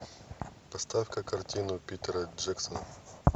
поставь ка картину питера джексона